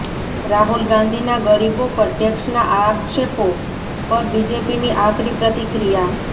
રાહુલ ગાંધીના ગરીબો પર ટેક્સના આક્ષેપો પર બીજેપીની આકરી પ્રતિક્રિયા